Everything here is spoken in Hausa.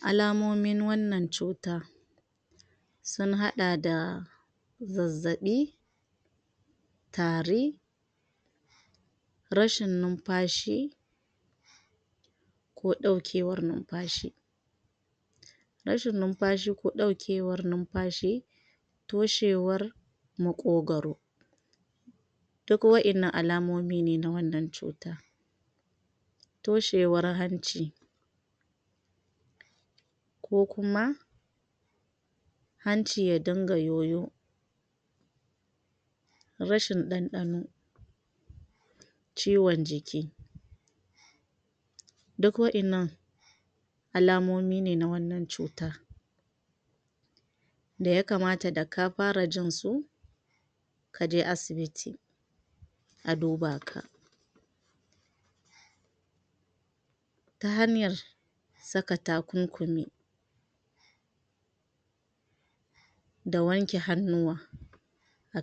alamomin wannan cutar sun hada da zazzabi tari rashin numfashi ko daukewar numfashi rashin numfashi ko daukewar numfashi toshewar makogaro duk wa'ennan alamomine na wannan cutar toshewar hanci ko kuma hanci ya dinga yoyo rashin danɗano ciwon ciki duk wa'ennan alamomi ne na wannan cutar da yakamata da ka fara jin su kaje asibiti a duba ka ta hanyar saka takunkumi da wanke hannuwa